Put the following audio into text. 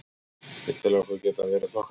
Ég tel okkur geta verið þokkalega.